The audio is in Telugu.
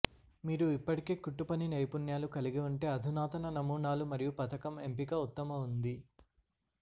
మీరు ఇప్పటికే కుట్టుపని నైపుణ్యాలు కలిగి ఉంటే అధునాతన నమూనాలు మరియు పథకం ఎంపిక ఉత్తమ ఉంది